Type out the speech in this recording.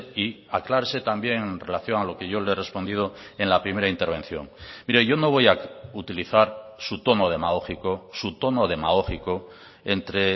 y aclárese también en relación a lo que yo le he respondido en la primera intervención mire yo no voy a utilizar su tono demagógico su tono demagógico entre